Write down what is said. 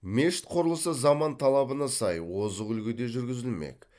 мешіт құрылысы заман талабына сай озық үлгіде жүргізілмек